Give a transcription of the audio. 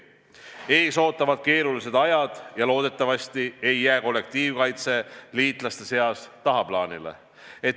Ees ootavad keerulised ajad ja loodetavasti ei jää kollektiivkaitse liitlaste seas tagaplaanile.